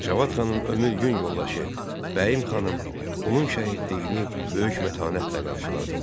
Cavad xanın ömür-gün yoldaşı Bəyim xanım, onun şəhidliyini böyük mətanətlə qarşıladı.